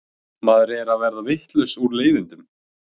Maður er að verða vitlaus úr leiðindum.